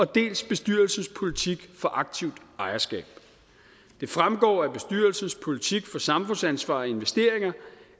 dels bestyrelsens politik for aktivt ejerskab det fremgår af bestyrelsens politik for samfundsansvar og investeringer